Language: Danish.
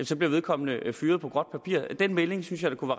så bliver vedkommende fyret på gråt papir den melding synes jeg da kunne